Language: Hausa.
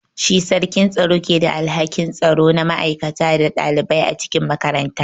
Shi sarkin tsaro ke da alhakin tsaro na ma'aikata da ɗalibai a cikin makaranta.